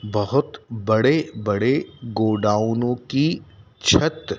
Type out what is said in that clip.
बहुत बड़े बड़े गोडाउनों की छत--